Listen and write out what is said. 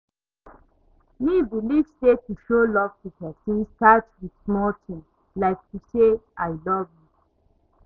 me believe say to show love to pesin start with small ting, like to say, 'i love you'.